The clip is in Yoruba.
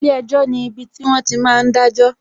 Ilé ẹjọ́ ni ibiti wọn ti máa ń dajo